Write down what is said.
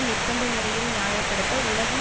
நிர்ப்பந்த முறையில் நியாய படுத்த உலகம்